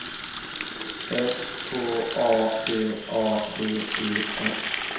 S K A D A D E S